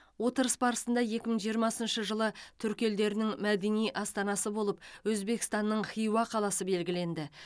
отырыс барысында екі мың жиырмасыншы жылы түркі елдерінің мәдени астанасы болып өзбекстанның хиуа қаласы белгіленді